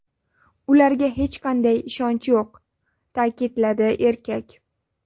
Ularga hech qanday ishonch yo‘q”, ta’kidladi erkak.